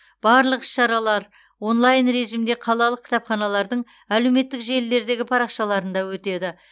барлық іс шаралар онлайн режимде қалалық кітапханалардың әлеуметтік желілердегі парақшаларында өтеді